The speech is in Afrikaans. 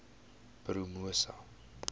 promosa